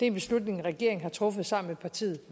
en beslutning regeringen har truffet sammen med partierne